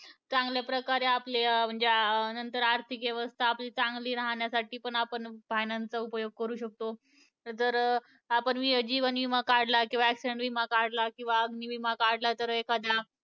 चांगल्या प्रकारे आपल्या अं म्हणजे अं नंतर आर्थिक व्यवस्था आपली चांगली राहण्यासाठी पण आपण finance चा उपयोग करू शकतो. जर आपण जीवन विमा काढला किंवा accident विमा काढला किंवा अग्नी विमा काढला तर एखाद्या